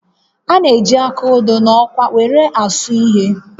A na-eji áká odo na ọkwá were asụ ihe